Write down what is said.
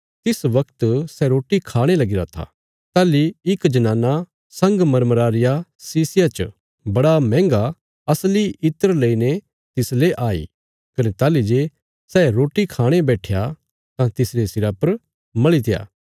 जिस बगत सै रोटी खाणे लगीरा था ताहली इक जनाना संगमरमरा रिया शीशिया च बड़ा मैहन्गा असली इत्र लेईने तिसले आई कने ताहली जे सै रोटी खाणे बैट्ठया तां तिसरे सिरा पर मलीत्या